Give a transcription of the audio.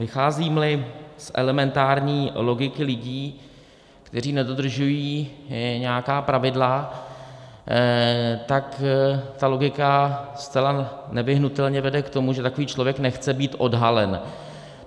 Vycházím-li z elementární logiky lidí, kteří nedodržují nějaká pravidla, tak ta logika zcela nevyhnutelně vede k tomu, že takový člověk nechce být odhalen.